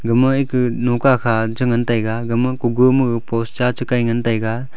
ama ekah loka kha chingantaiga gama kogo ma post cha chi kaitaiga.